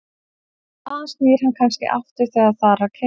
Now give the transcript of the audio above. Þaðan snýr hann kannski aftur þegar þar að kemur.